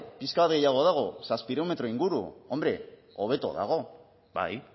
pixka bat gehiago dago zazpiehun metro inguru hombre hobeto dago bai